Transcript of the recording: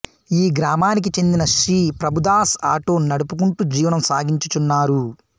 ఈ గ్రామానికి చెందిన శ్రీ ప్రభుదాస్ ఆటో నడుపుకుంటూ జీవనం సాగించుచున్నారు